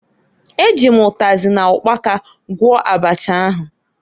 E ji m ụtazị na ụkpaka gwọọ abacha ahụ.